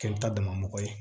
Kɛli ta dama mɔgɔ ye